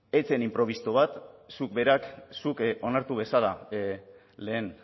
ez zen inprebisto bat zuk onartu bezala lehen